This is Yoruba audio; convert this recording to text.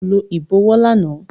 Rárá, ko lo ibọwọ làná